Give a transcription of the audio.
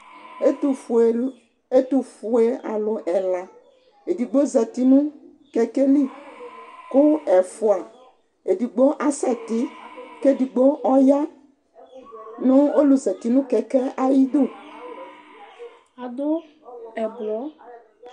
ɛtofue ɛtofue alo ɛla edigbo zati no kɛkɛ li kò ɛfua edigbo asɛ ti k'edigbo ɔya no ɔlò zati no kɛkɛ ayidu ado ublɔ